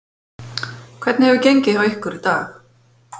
Hvernig hefur gengið hjá ykkur í dag?